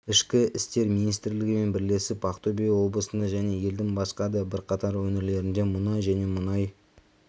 ішкі істер министрлігімен бірлесіп ақтөбе облысында және елдің басқа да бірқатар өңірлерінде мұнай және мұнай